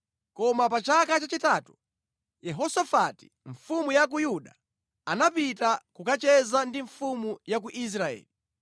Koma pa chaka chachitatu, Yehosafati mfumu ya ku Yuda anapita kukacheza ndi mfumu ya ku Israeli.